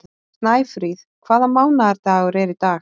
Snæfríð, hvaða mánaðardagur er í dag?